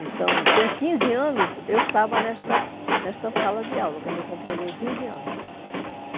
Então, com quinze anos, eu estava nesta nesta sala de aula, quando eu completei quinze anos.